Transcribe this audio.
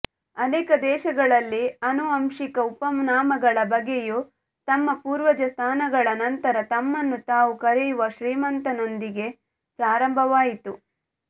ಅನೇಕ ದೇಶಗಳಲ್ಲಿ ಆನುವಂಶಿಕ ಉಪನಾಮಗಳ ಬಳಕೆಯು ತಮ್ಮ ಪೂರ್ವಜ ಸ್ಥಾನಗಳ ನಂತರ ತಮ್ಮನ್ನು ತಾವು ಕರೆಯುವ ಶ್ರೀಮಂತತನದೊಂದಿಗೆ ಪ್ರಾರಂಭವಾಯಿತು